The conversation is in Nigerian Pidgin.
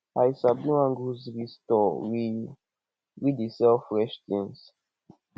i sabi one grocery store wey wey dey sell fresh tins